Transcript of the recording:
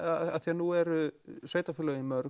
nú eru sveitarfélögin mörg